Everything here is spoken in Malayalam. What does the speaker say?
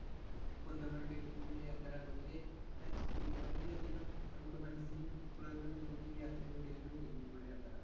യാത്ര വളരെ വളരെ അധികം നമ്മുക്ക് മനസ്സിന് കുളിർമയേകുന്ന യാത്രകൂടിയാണ് ഊട്ടിക്കുള്ള യാത്ര.